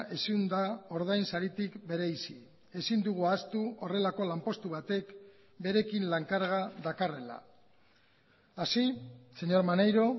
ezin da ordain saritik bereizi ezin dugu ahaztu horrelako lanpostu batek berekin lan karga dakarrela así señor maneiro